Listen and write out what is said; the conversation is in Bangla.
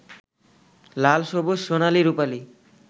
লাল, সবুজ, সোনালি, রুপালি